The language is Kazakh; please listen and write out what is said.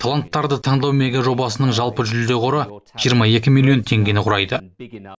таланттарды таңдау мегажобасының жалпы жүлде қоры жиырма екі миллион теңгені құрайды